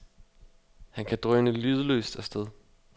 Han kan drøne lydløst af sted.